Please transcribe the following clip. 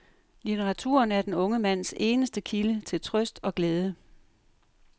Litteraturen er den unge mands eneste kilde til trøst og glæde.